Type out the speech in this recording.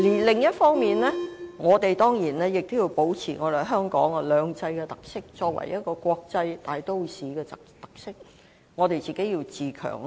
另一方面，我們當然也要保持香港在"兩制"下作為國際大都市的特色，必須自強。